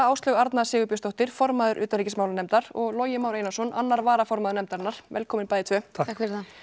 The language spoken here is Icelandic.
Áslaug Arna Sigurbjörnsdóttir formaður utanríkismálanefndar og Logi Már Einarsson annar varaformaður nefndarinnar velkomin bæði tvö takk ef